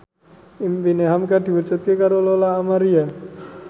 impine hamka diwujudke karo Lola Amaria